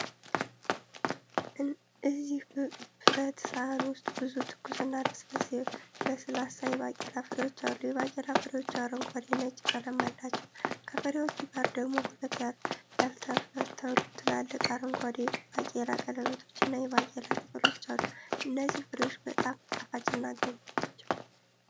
እዚህ ብረት ሰሃን ውስጥ ብዙ ትኩስና ለስላሳ የባቄላ ፍሬዎች አሉ። የባቄላ ፍሬዎቹ አረንጓዴ ነጭ ቀለም አላቸው። ከፍሬዎቹ ጋር ደግሞ ሁለት ያልተፈተሉ ትላልቅ አረንጓዴ ባቄላ ቀለበቶችና የባቄላ ቅጠሎች አሉ። እነዚህ ፍሬዎች በጣም ጣፋጭና ገንቢ ናቸው።